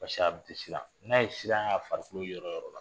a tɛ siran n'a ye siran ye a farikolo yɔrɔ o yɔrɔ la